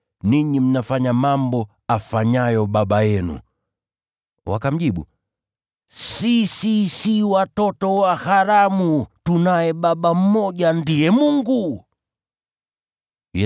Ninyi mnafanya mambo afanyayo baba yenu.” Wakamjibu, “Sisi hatukuzaliwa kwa uzinzi. Tunaye Baba mmoja, Mungu pekee.”